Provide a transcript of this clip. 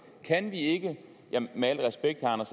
kan vi ikke med al respekt må jeg